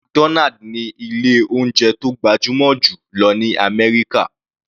McDonald ní ilé oúnjẹ tó gbajúmọ̀ jù lọ ní àmẹ́ríkà.